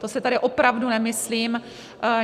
To si tedy opravdu nemyslím.